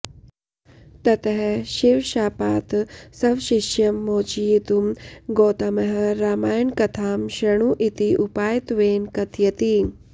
ततः शिवशापात् स्वशिष्यं मोचयितुं गौतमः रामायणकथां शृणु इति उपायत्वेन कथयति